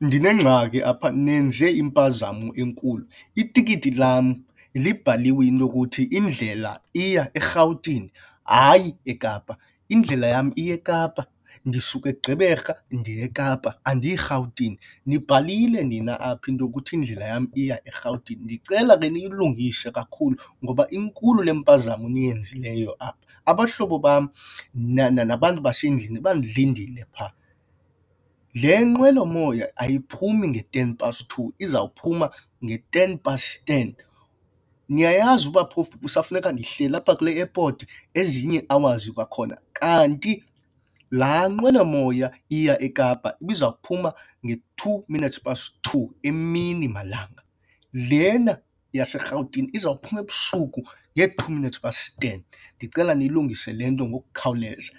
Ndinengxaki apha nenze impazamo enkulu, itikiti lam libhaliwe into yokuthi indlela iya eRhawutini hayi eKapa. Indlela yam iya eKapa, ndisuka eGqeberha ndiya eKapa andiyi Rhawutini. Nibhalile nina apha into yokuthi indlela yam iya eRhawutini, ndicela ke niyilungise kakhulu ngoba inkulu le mpazamo niyenzileyo apha. Abahlobo bam nabantu basendlini bandilindile phaa. Le nqwelomoya ayiphumi nge-ten past two izawuphuma nge-ten past ten. Niyayazi uba phofu kusafuneka ndihleli apha kule airport ezinye ii-hours kwakhona? Kanti laa nqwelomoya iya eKapa ibizawuphuma nge-two minutes past two emini malanga, lena yaseRhawutini izawuphuma ebusuku nge-two minutes past ten. Ndicela niyilungise le nto ngokukhawuleza